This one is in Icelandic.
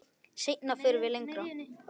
Seinna förum við lengra.